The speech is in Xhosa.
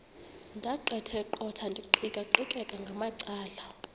ndaqetheqotha ndiqikaqikeka ngamacala